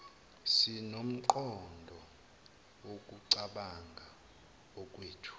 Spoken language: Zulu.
sinomqondo wokucabanga okwethu